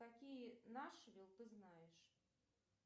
какие нашвил ты знаешь